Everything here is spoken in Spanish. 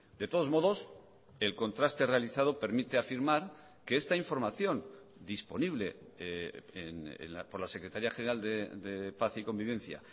de todos modos el contraste realizado permite afirmar que esta información disponible por la secretaría general de paz y convivencia